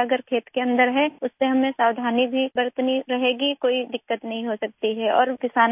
اگر کھیت کے اندر کوئی کیڑے مکوڑے ہوں تو ہمیں محتاط رہنا ہو گا، کوئی مسئلہ نہیں ہو سکتا اور میں بھی کسان ہوں